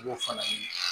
I b'o fana ye